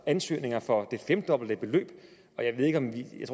ansøgninger for det femdobbelte beløb